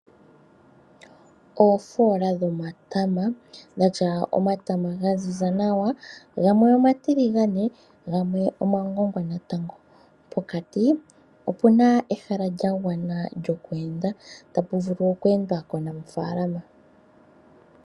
Oofoola dhomatama dhatya omatama ga ziza nawa gamwe omatiliganae go gamwe omagongwa natango. Pokati opuna ehala lya gwana lyo ku enda, ta pu vulu oku endwa komunafaalama.